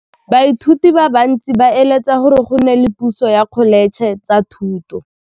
Baithuti ba bantsi ba eletsa gore go nne le pusô ya Dkholetšhe tsa Thuto.